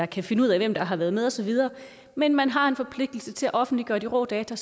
kan finde ud af hvem der har været med og så videre men man har en forpligtelse til at offentliggøre de rå data